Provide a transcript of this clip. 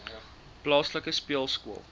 plaaslike speelskool begin